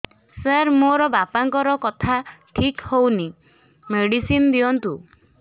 ସାର ମୋର ବାପାଙ୍କର କଥା ଠିକ ହଉନି ମେଡିସିନ ଦିଅନ୍ତୁ